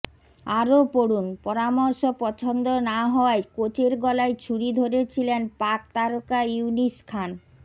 আরও পড়ুনঃপরামর্শ পছন্দ না হওয়ায় কোচের গলায় ছুরি ধরেছিলেন পাক তারকা ইউনিস খান